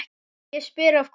Ég spyr, af hverju?